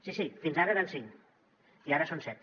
sí sí fins ara eren cinc i ara en són set